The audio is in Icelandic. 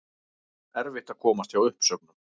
Erfitt að komast hjá uppsögnum